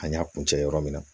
An y'a kun cɛ yɔrɔ min na